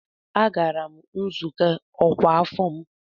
Agara m nzukọ ọkwa afọ m.